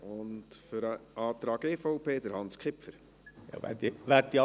Zum Antrag der EVP hat Hans Kipfer das Wort.